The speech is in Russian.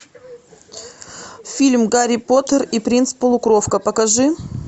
фильм гарри поттер и принц полукровка покажи